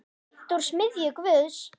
Beint úr smiðju Guðs.